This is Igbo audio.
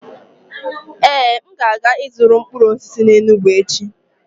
Ee, m ga-aga ịzụrụ mkpụrụ osisi n'Enugwu echi.